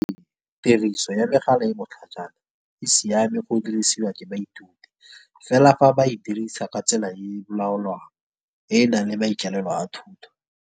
Tiriso ya megala e botlhajana, e siame go dirisiwa ke baithuti. Fela fa ba e dirisa ka tsela e laolwang e nang le maikaelelo a thuto.